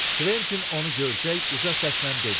Kventin onu görəcək uca səslə dedi: